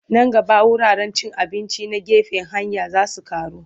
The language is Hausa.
Nan gaba wuraren cin abinci na gefen hanya za su ƙaru.